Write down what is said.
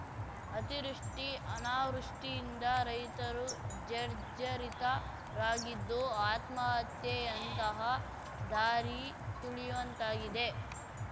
ಅತಿವೃಷ್ಟಿ ಅನಾವೃಷ್ಟಿಯಿಂದ ರೈತರು ಜರ್ಝರಿತ ರಾಗಿದ್ದು ಆತ್ಮಹತ್ಯೆಯಂತಹ ದಾರಿ ತುಳಿಯುವಂತಾಗಿದೆ